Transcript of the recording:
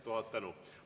Tuhat tänu!